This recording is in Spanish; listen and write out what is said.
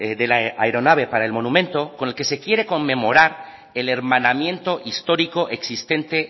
de la aeronave para el monumento con el que se quiere conmemorar el hermanamiento histórico existente